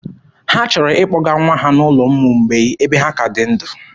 Ha chọrọ ịkpọga nwa ha n'ụlọ ụmụ mgbei ebe ha ka dị ndụ.